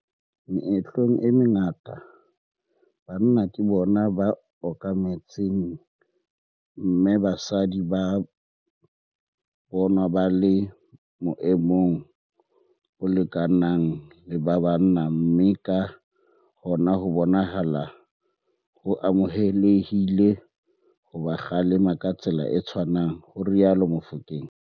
"Meetlong e mengata, banna ke bona ba okametseng mme basadi ba bonwa ba le boemong bo lekanang le ba bana mme ka hona ho bonahala ho amohelehile ho ba kgalema ka tsela e tshwanang," ho rialo Mofokeng.